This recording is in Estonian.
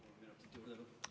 Palun kaheksa minutit!